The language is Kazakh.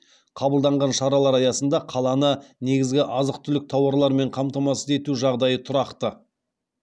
қабылданған шаралар аясында қаланы негізгі азық түлік тауарларымен қамтамасыз ету жағдайы тұрақты